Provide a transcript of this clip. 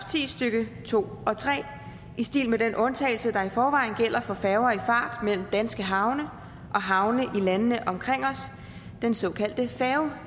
ti stykke to og tre i stil med den undtagelse der i forvejen gælder for færger i fart mellem danske havne og havne i landene omkring os den såkaldte færge